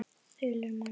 Þulur: Manstu það?